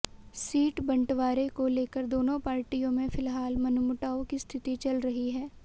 seat बंटवारे को लेकर दोनों पार्टियों में फिलहाल मनमुटाव की स्थिति चल रही है